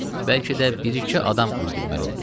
Bəlkə də bir-iki adam öldürməli olduz.